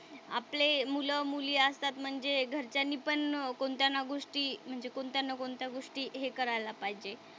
आपले मुलं-मुली असतात म्हणजे घरच्यांनीपण कोणत्या ना गोष्टी म्हणजे कोणत्या ना कोणत्या गोष्टी हे करायला पाहिजे.